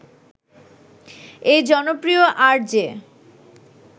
এই জনপ্রিয় আরজে